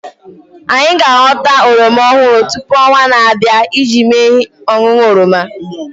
Anyị ga aghọta oroma ọhụrụ tupu onwaa na-abịa iji mee ihe ọṅụṅụ oroma